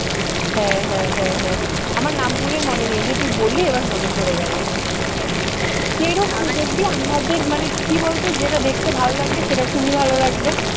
হ্যাঁ হ্যাঁ হ্যাঁ হ্যাঁ আমার নাম গুলোই মনে নেই এই যে তুই বললি এবার মনে পড়ে গেল এইবার যদিও আমাদের মানে কি বলতো যেটা দেখতে ভালো লাগবে সেটা খুবই ভালো লাগবে